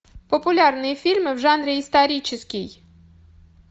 популярные фильмы в жанре исторический